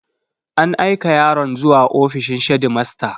An aika yaron zuwa ofishin shedimasta.